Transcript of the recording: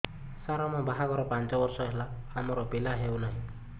ସାର ଆମ ବାହା ଘର ପାଞ୍ଚ ବର୍ଷ ହେଲା ଆମର ପିଲା ହେଉନାହିଁ